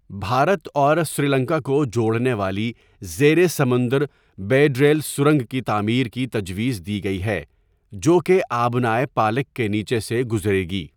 بھارت اور سری لنکا کو جوڑنے والی زیر سمندر بیڈ ریل سرنگ کی تعمیر کی تجویز دی گئی ہے، جو کہ آبنائے پالک کے نیچے سے گزرے گی۔